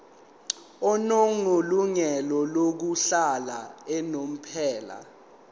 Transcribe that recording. onelungelo lokuhlala unomphela